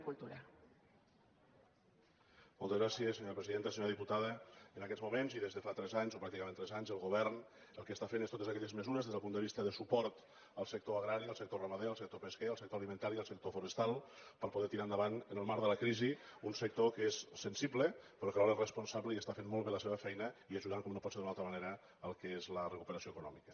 senyora diputada en aquests moments i des de fa tres anys o pràcticament tres anys el govern el que està fent és totes aquelles mesures des del punt de vista de suport al sector agrari al sector ramader al sector pesquer al sector alimentari i al sector forestal per poder tirar endavant en el marc de la crisi un sector que és sensible però que alhora és responsable i està fent molt bé la seva feina i ajudant com no pot ser d’una altra manera al que és la recuperació econòmica